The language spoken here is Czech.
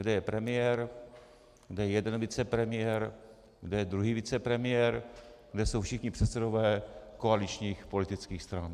Kde je premiér, kde je jeden vicepremiér, kde je druhý vicepremiér, kde jsou všichni předsedové koaličních politických stran?